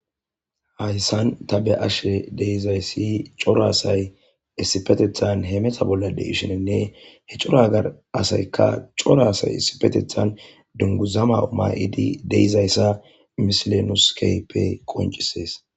hayssan ta be ashe deizayssi coraasay issipetethan he mesa bollade ishinenne he coragar asaykka coraasay issipetethan dunguzama uma7idi deizayssa misilenuskepe qoncisees